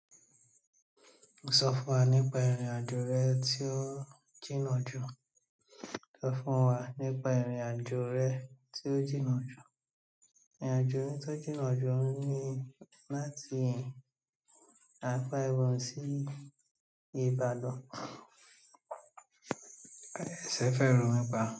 Sọ fún wa nípa ìrìn-àjò rẹ tí ó jìnnà jù, sọ fún wa nípa ìrìn-àjò rẹ tí ó jìnnà jù. Ìrìn-àjò mi tó jìnnà jù ni láti Apẹwà sí Ìbàdàn. Ẹ̀sẹ̀ fẹ́e ro mìpà.